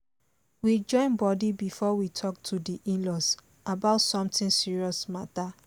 we join body before we talk to di in-laws about some serious matter